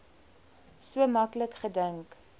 so maklik gedink